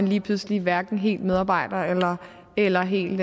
lige pludselig hverken er helt medarbejder eller helt